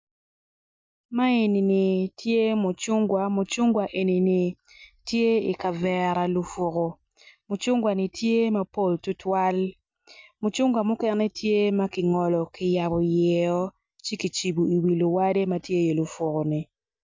Ma enini tye mucungwa mucungwa enini tye i kavera lufuku mucungwa-ni tye mapol tutwal mucungwa mukene tye ma kingolo ki yabo yio ci ki cibo i yi luwade ma tye i lufuku-ni